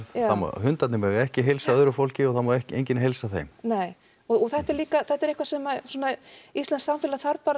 hundarnir ekki heilsa öðru fólki og það má enginn heilsa þeim nei og þetta er líka eitthvað sem íslenskt samfélag þarf bara